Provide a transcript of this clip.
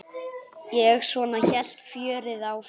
Og svona hélt fjörið áfram.